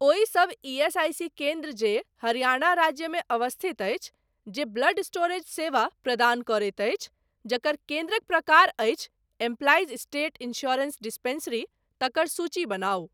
ओहि सब ईएसआईसी केन्द्र जे हरियाणा राज्यमे अवस्थित अछि, जे ब्लड स्टोरेज सेवा प्रदान करैत अछि, जकर केन्द्रक प्रकार अछि एम्प्लाइज स्टेट इन्स्योरेन्स डिस्पेंसरी, तकर सूची बनाउ।